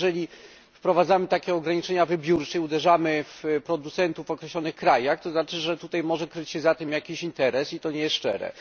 Ale jeżeli wprowadzamy takie ograniczenia wybiórczo i uderzamy w producentów w określonych krajach, to znaczy, że może kryć się za tym jakiś interes i to nie jest szczere.